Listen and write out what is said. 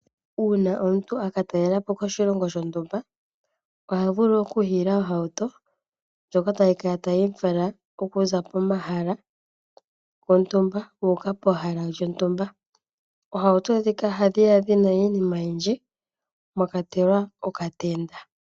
Uuna omuntu akatalelapo koshilongo shontumba, ohavulu oku hiila ohauto ndjoka tayi kala tayimufala okuza pomahala gontumba uuka pehala lyontumba, oohauto ndhika ohadhiya dhina iinima oyindji mwakwatelwa okatemba.